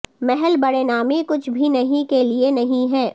محل بڑے نامی کچھ بھی نہیں کے لئے نہیں ہے